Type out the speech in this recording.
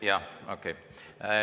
Jah, okei.